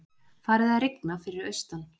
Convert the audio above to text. Farið að rigna fyrir austan